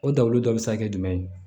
O dawuli dɔ be se ka kɛ jumɛn ye